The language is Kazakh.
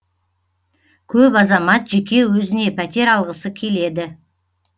көп азамат жеке өзіне пәтер алғысы келеді